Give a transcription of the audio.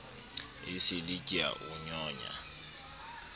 esele ke a o nyonya